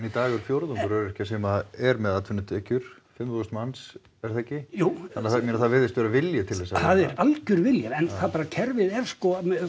dag er fjórðungur öryrkja sem er með atvinnutekjur fimm þúsund manns er það ekki jú þannig ég meina það virðist vera vilji til þess að vinna það er algjör vilji en það bara kerfið er sko